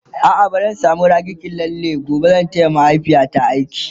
a'a bazan samu raki ki lalle ba gobe zan taya mahaifiyata aiki